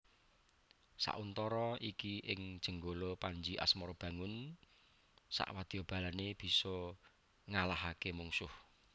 Sauntara iki ing Jenggala Panji Asmarabangun sakwadyabalané bisa ngalahaké mungsuh